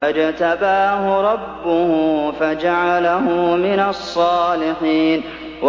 فَاجْتَبَاهُ رَبُّهُ فَجَعَلَهُ مِنَ الصَّالِحِينَ